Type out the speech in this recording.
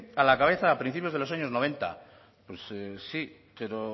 a la cabeza a principios de los años noventa pues sí pero